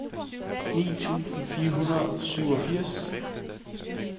ni tusind fire hundrede og syvogfirs